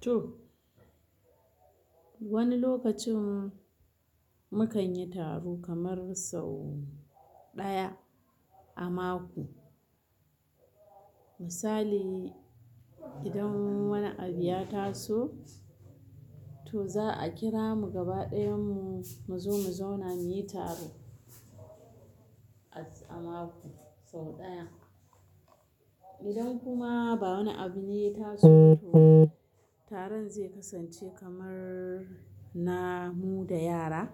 To wani lokacin mu kan yi taro kamar sau ɗaya a mako. Misali idan wani abu ya taso, to za a kira mu gaba ɗayan mu zo mu zauna mu yi taro a mako sau ɗaya. Idan kuma ba wani abu ne ya taso, taron zai kasance kamar na mu da yara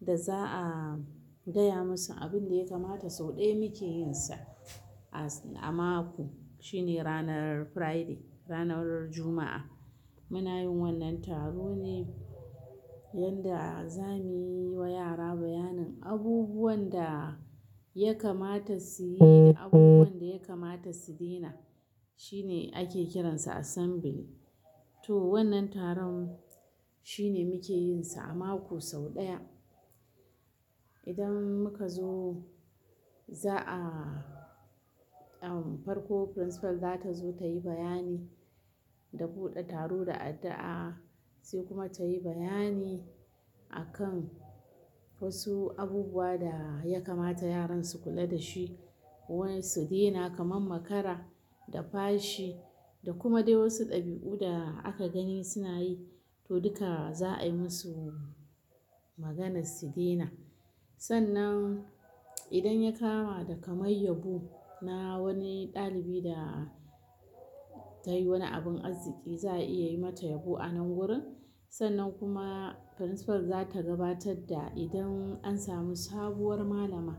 da za a gaya musu abin da ya kamata sau ɗaya muke yinsa a mako, shine ranar Friday, ranar Juma'a. Muna yin wannan taron ne yanda za mu yi wa yara bayanin abubuwan da ya kamata su yi da abubuwan da ya kamata su daina. Shine ake kiransa assembly. To wannan taron shine muke yinsa a mako sau ɗaya. Idan muka zo za a-- farko principal zata zo ta yi bayani da buɗe taro da addu'a, sai kuma ta yi bayani akan wasu abubuwa da ya kamata yaran su kula dashi, waye su daina kamar makara, da fashi, da kuma dai wasu ɗabi'u da aka gani suna yi, to duka za a yi musu maganar su daina. Sannan idan ya kama da kamar yabo na wani ɗalibi da ta yi wani abin arziki, za a iya yi mata yabo a nan wurin. Sannan kuma principal zata gabatar da idan an samu sabuwar malama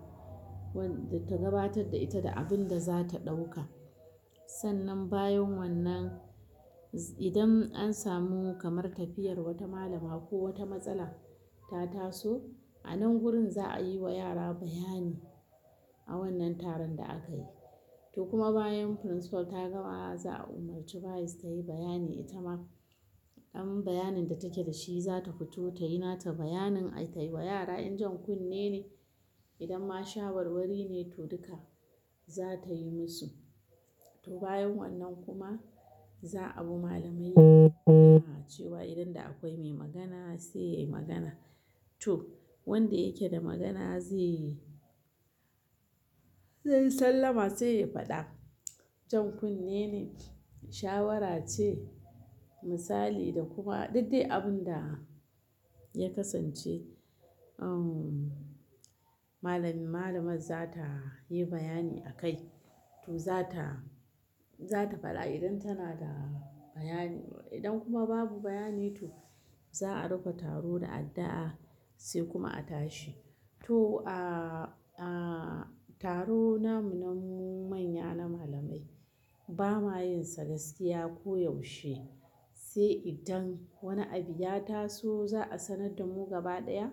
wadda ta gabatar da ita da abin da zata ɗauka. Sannan bayan wannan, idan an samu kamar tafiyar wata malama ko wata matsala ta taso, a nan gurin za a yi wa yara bayani a wannan taron da aka yi. To kuma bayan principal ta gama za a umarci vice ta yi bayani ita ma. Idan bayanin da take da shi za ta fito ta yi nata bayanin ai tayi wa yara idan jan kunne ne, idan ma shawarwari ne to duka za ta yi musu. To bayan wannan kuma za a bu ma malamai da cewa idan da akwai mai magana sai ya yi magana. To wanda yake da magana ze yi. Zai sallama sai ya faɗa. Jan kunne ne, shawara ce, misali da kuma duk dai abin da ya kasance. Uhm malamin-- malamar za ta yi bayani akai. To za ta, za ta faɗa idan tana da bayani. Idan kuma babu bayani to za a rufe taro da addu'a sai kuma a tashi. To a, a taro namu na mu manya na malamai ba ma yin sa gaskiya ko yaushe. Sai idan wani abu ya taso za a sanar da mu gaba ɗaya,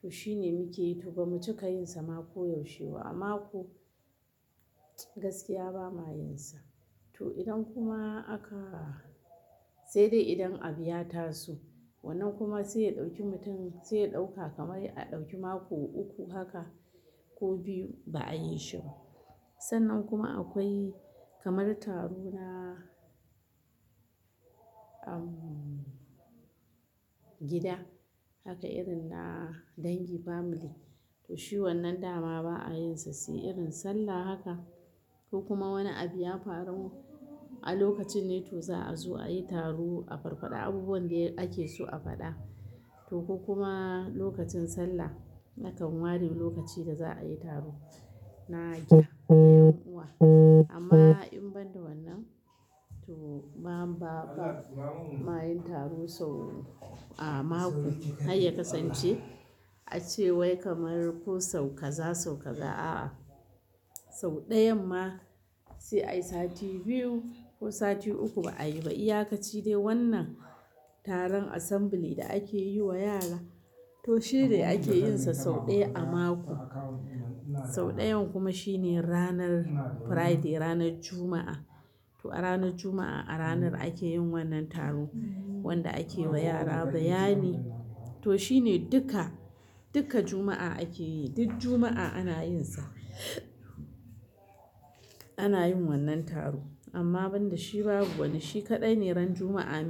to shine muke yi. To ba mu cika yin sa ma ko yaushe ba, a mako gaskiya ba ma yin sa. To idan kuma aka-- sai dai idan abu ya taso wannan kuma sai ya ɗauki mutum sai ya ɗauka kamar a ɗauki mako uku haka ko biyu ba a yi shi ba. Sannan kuma akwai kamar taro na uhm gida, haka irin na dangi family. To shi wannan dama ba a yin sa sai irin sallah haka. Ko kuma wani abu ya faru a lokacin ne to za a zo ayi taro a farko da abubuwan da ake so a faɗa. To ko kuma lokacin sallah, akan ware lokaci da za a yi taro na gida, na ƴan uwa. Amma in ban da wannan to ba'a, ba ma yin taro sau a mako har ya kasance. Ace wai kamar ko sau kaza, sau kaza a'a. Sau ɗayan ma sai ai sati biyu ko sati uku ba a yi ba. Iya ka ci dai wannan taron assembly da ake yi wa yara to shi dai ake yin sa sau ɗaya a mako. Sau ɗayan kuma shine ranar Friday, ranar Juma'a. To a ranar Juma'a a ranar ake yin wannan taro wanda ake wa yara bayani. To shi ne duka, duka Juma'a ake yi. Duk Juma'a ana yin sa. Ana yin wannan taro. Amma ban da shi babu wani, shi kaɗai ne ran Juma'a ne.